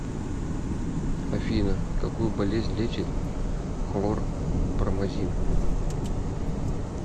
афина какую болезнь лечит хлорпромазин